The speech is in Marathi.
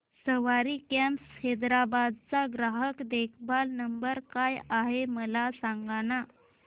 सवारी कॅब्स हैदराबाद चा ग्राहक देखभाल नंबर काय आहे मला सांगाना